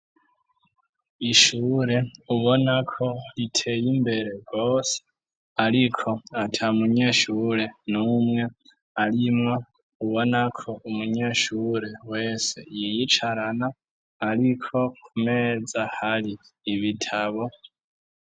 Ishure, ubona ko riteye imbere rwose, ariko ata munyeshure n'umwe arimwo, ubona ko umunyeshure wese, yiyicarana; ariko ku meza, hari ibitabo.